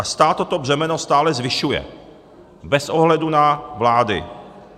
A stát toto břemeno stále zvyšuje, bez ohledu na vlády.